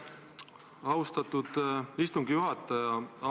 Aitäh, austatud istungi juhataja!